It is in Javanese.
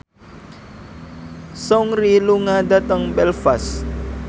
Seungri lunga dhateng Belfast